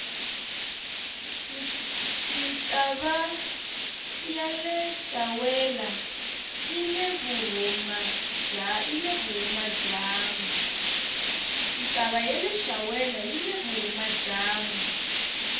ntava yaleshawela yile vuhhumajambu